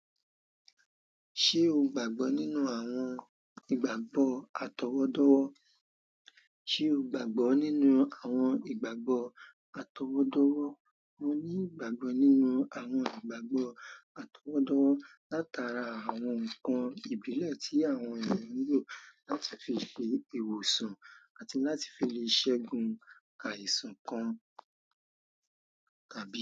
Ṣé o gbàgbọ́ nínú àwọn ìgbàgbọ́ àtọwọ́dọ́wọ́? Ṣé o gbàgbọ́ nínú àwọn ìgbàgbọ́ àtọwọ́dọ́wọ́? Mo ní ìgbàgbọ́ nínú àwọn ìgbàgbọ́ àtọwọ́dọ́wọ́ látara àwọn ǹkan ìbílẹ̀ tí àwọn ènìyàn ń lò láti fi ṣe ìwòsàn àti láti fi le ṣẹ́gun àìsàn kan,